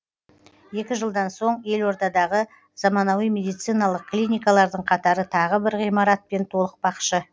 екі жылдан соң елордадағы замануи медициналық клиникалардың қатары тағы бір ғимаратпен толықпақшы